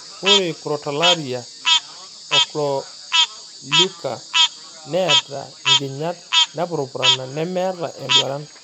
Ore Crotalaria ochroleuca neata nkinyat napurupurana memeata enduaran.